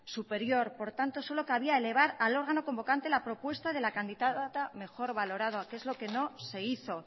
superior por tanto solo cabía elevar al órgano convocante la propuesta de la candidata mejor valorada que es lo que no se hizo